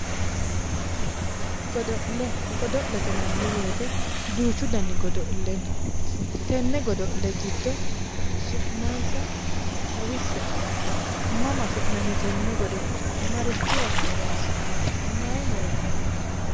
Godo'le, godo'le yinnanni woyte duuchu danni godo'le no, tene godo'le giddo su'mansa xawise'e? Mama afi'nanni tene godo'le, marichira horonsi'nanni ,maayi horono uyittanonke ?